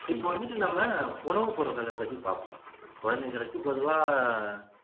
இப்போ வந்துட்டு நம்ம உணவு பொருள்களை பத்தி பாப்போம் குழந்தைங்களுக்கு பொதுவா